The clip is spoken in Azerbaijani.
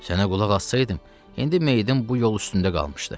Sənə qulaq assaydım, indi meyidin bu yol üstündə qalmışdı.